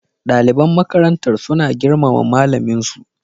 Daliban makarantar suna girmama malamin su